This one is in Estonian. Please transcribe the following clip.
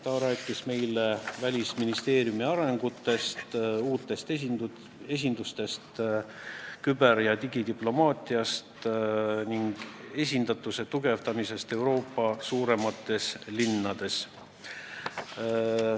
Ta rääkis meile arengutest Välisministeeriumis, uutest esindustest, küber- ja digidiplomaatiast ning esindatuse tugevdamisest Euroopa suuremates linnades.